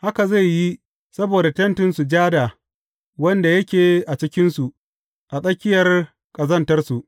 Haka zai yi saboda Tentin Sujada wanda yake a cikinsu a tsakiyar ƙazantarsu.